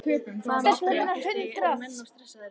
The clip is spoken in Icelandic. Hvað með spennustigið, eru menn of stressaðir?